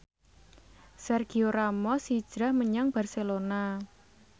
Sergio Ramos hijrah menyang Barcelona